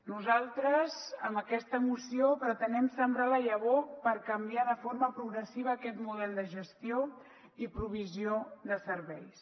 nosaltres amb aquesta moció pretenem sembrar la llavor per canviar de forma progressiva aquest model de gestió i provisió de serveis